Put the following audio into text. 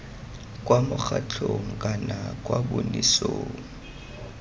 kwa mokgatlhong kana kwa bonosing